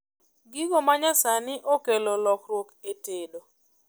Gigo manyasani okelo lokruok e tedo